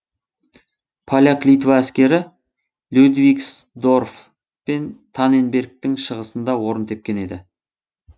поляк литва әскері людвигсдорф пен танненбергтің шығысында орын тепкен еді